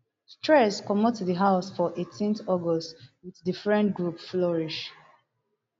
streeze comot di house for eighteen august wit di friend group flourish